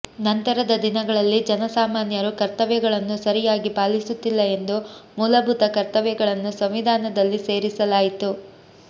ನಂತರದ ದಿನಗಳಲ್ಲಿ ಜನಸಾಮಾನ್ಯರು ಕರ್ತವ್ಯಗಳನ್ನು ಸರಿಯಾಗಿ ಪಾಲಿಸುತ್ತಿಲ್ಲ ಎಂದು ಮೂಲಭೂತ ಕರ್ತವ್ಯಗಳನ್ನು ಸಂವಿಧಾನದಲ್ಲಿ ಸೇರಿಸಲಾಯಿತು